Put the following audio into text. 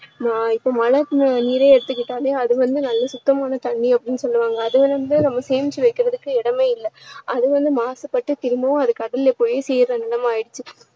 நா~ இப்போ மழை நீரே எடுத்துகிட்டாலே அது வந்து நல்ல சுத்தமான தண்ணீர் அப்படின்னு சொல்லுவாங்க அது வந்து நாம சேமிச்சு வைக்குறதுக்கு இடமே இல்ல அது வந்து மாசுபட்டு திரும்பவும் அது கடல்ல போய் சேருற நிலைமை ஆகிடுச்சு